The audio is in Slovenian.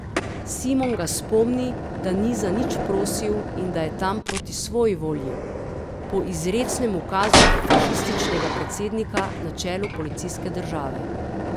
Simon ga spomni, da ni za nič prosil in da je tam proti svoji volji, po izrecnem ukazu fašističnega predsednika na čelu policijske države.